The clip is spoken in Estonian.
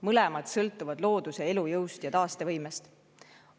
Mõlemad sõltuvad looduse elujõust ja taastevõimest.